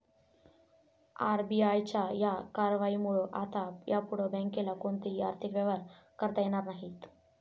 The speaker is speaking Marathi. आरबीआयच्या या कारवाईमुळं आता यापुढं बँकेला कोणतेही आर्थिक व्यवहार करता येणार नाहीत.